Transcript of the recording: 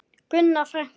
Gunna frænka.